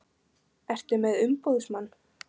Ertu með umboðsmann?